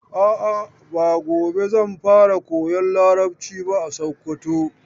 A'a, ba gobe zan fara koyan Larabci ba a Sokoto.